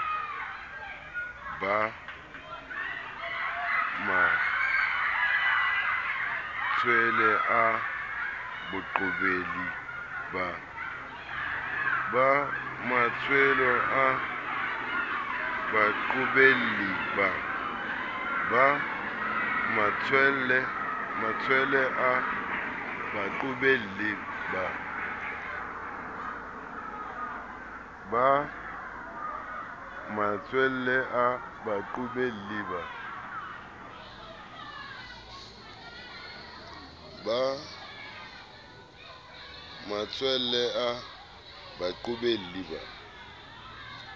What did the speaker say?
ba matshwele a baqobelli ba